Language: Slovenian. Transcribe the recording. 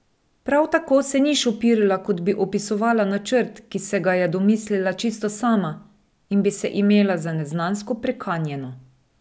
Prav tako se ni šopirila, kot bi opisovala načrt, ki se ga je domislila čisto sama, in bi se imela za neznansko prekanjeno.